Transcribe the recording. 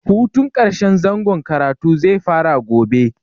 Hutun ƙarshen zangon karatu zai fara gobe.